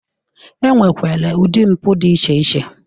E nwekwere ụdị mpụ dị iche iche.